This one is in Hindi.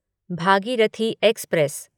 भागीरथी एक्सप्रेस